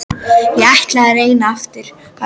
Ég ætla að reyna aftur á eftir.